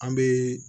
An bɛ